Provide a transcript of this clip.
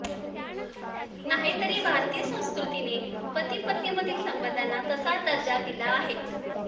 नाहीतरी भारतीय संस्कृतीने पती पत्नीमधील संबंधाना तसा दर्जा दिला आहेच